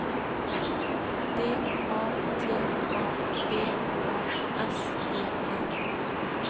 D A T A B A S E N